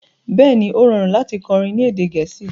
Bẹ́ẹ̀ni, o rọ̀run lati kọrí ni èdè Gẹẹsi